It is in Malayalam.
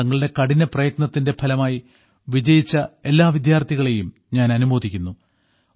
തങ്ങളുടെ കഠിപ്രയത്നത്തിന്റെ ഫലമായി വിജയിച്ച എല്ലാ വിദ്യാർത്ഥികളെയും ഞാൻ അനുമോദിക്കുന്നു